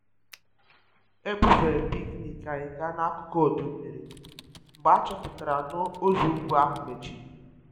E bufere picnic anyị gaa n'akụkụ ọdọ mmiri mgbe a chọpụtara na ụzọ ugwu ahụ mechiri